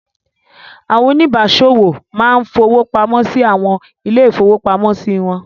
Àwọn oníbàáṣòwò máa ń fowó pamọ́ sí àwọn ilé-ìfowópamọ́sí wọn.